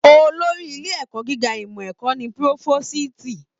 Olórí ilé ẹ̀kọ́ gíga ìmọ ẹ̀kọ́ ní Pirofositi.